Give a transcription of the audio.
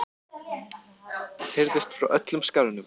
heyrðist frá öllum skaranum.